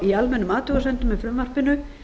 í almennum athugasemdum með frumvarpinu